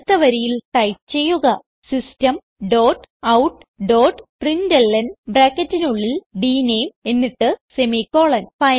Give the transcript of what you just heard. അടുത്ത വരിയിൽ ടൈപ്പ് ചെയ്യുക system dot out dot println ബ്രാക്കറ്റിനുള്ളിൽ ഡ്നേം എന്നിട്ട് സെമിക്കോളൻ